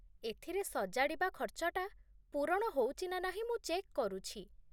ଏଥିରେ ସଜାଡ଼ିବା ଖର୍ଚ୍ଚଟା ପୂରଣ ହଉଚି ନା ନାହିଁ ମୁଁ ଚେକ୍ କରୁଛି ।